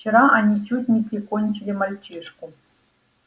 вчера они чуть не прикончили мальчишку